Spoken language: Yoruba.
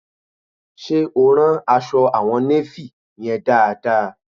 Ṣe o rán aṣọ àwọn néfì yẹn dáadáa?